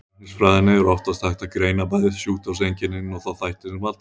Í læknisfræðinni er oftast hægt að greina bæði sjúkdómseinkennin og þá þætti sem valda þeim.